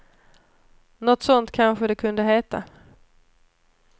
Nåt sånt kanske det kunde heta.